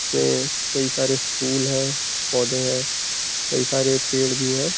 में कई सारे फुल हैं पौधे हैं कई सारे पेड़ भी हैं।